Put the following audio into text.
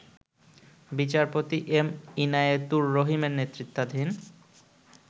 বিচারপতি এম ইনায়েতুর রহিমের নেতৃত্বাধীন